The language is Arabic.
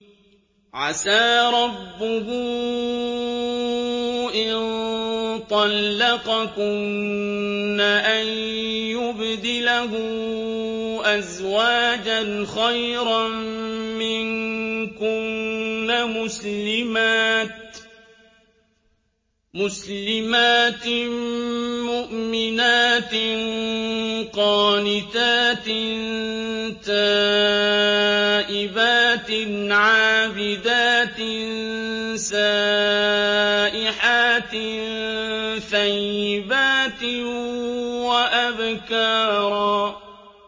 عَسَىٰ رَبُّهُ إِن طَلَّقَكُنَّ أَن يُبْدِلَهُ أَزْوَاجًا خَيْرًا مِّنكُنَّ مُسْلِمَاتٍ مُّؤْمِنَاتٍ قَانِتَاتٍ تَائِبَاتٍ عَابِدَاتٍ سَائِحَاتٍ ثَيِّبَاتٍ وَأَبْكَارًا